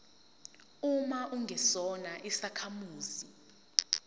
uma ungesona isakhamuzi